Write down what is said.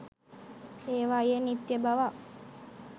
ඒවායේ නිත්‍ය බවක්